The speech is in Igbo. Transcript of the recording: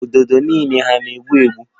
Ududo niile hà na-egbu egbu?